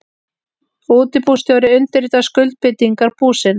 Útibússtjóri undirritar skuldbindingar búsins.